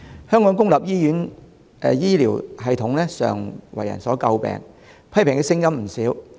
香港公立醫院的醫療系統常為人所詬病，批評的聲音不少。